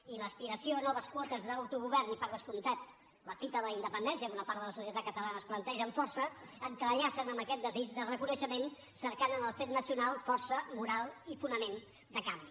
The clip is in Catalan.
i l’aspiració a noves quotes d’autogovern i per descomptat la fita de la independència que una part de la societat catalana es planteja amb força entrellacen amb aquest desig de reconeixement cercant en el fet nacional força moral i fonament de canvi